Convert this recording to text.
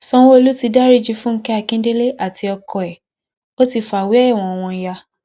sanwolu ti dariji fúnkẹ akíndélé àti ọkọ ẹ ó ti fàwé ẹwọn wọn yá